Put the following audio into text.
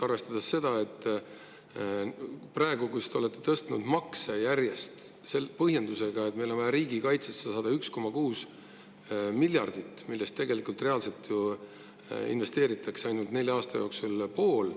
Praegu te olete järjest makse tõstnud, ja seda põhjendusega, et meil on vaja riigikaitsesse saada 1,6 miljardit, millest tegelikult reaalselt ju investeeritakse nelja aasta jooksul ainult pool.